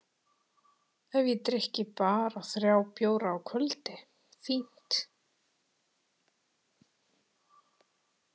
Ef ég drykki bara þrjá bjóra á kvöldi, fínt!